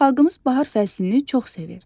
Xalqımız bahar fəslini çox sevir.